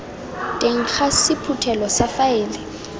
teng ga sephuthelo sa faele